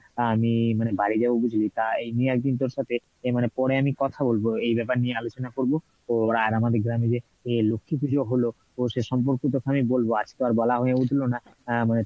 আহ আমি মানে বাড়ি যাবো বুঝলি তা এই নিয়ে একদিন তোর সাথে মানে পরে আমি কথা বলবো এই ব্যাপার নিয়ে আলোচনা করবো তো আর আমাদের গ্রামে যে লক্ষ্মী পূজো হলো, সে সম্পর্কে তোকে আমি বলবো আজকে আর বলা হয়ে উঠলো না, আহ মানে